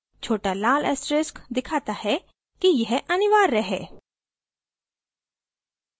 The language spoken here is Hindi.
छोटा लाल asterix दिखाता है कि यह अनिवार्य है